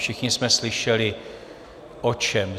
Všichni jsme slyšeli o čem.